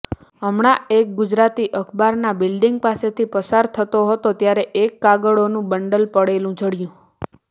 હમણા એક ગુજરાતી અખબારના બિલ્ડીંગ પાસેથી પસાર થતો હતો ત્યાં એક કાગળોનું બંડલ પડેલું જડ્યું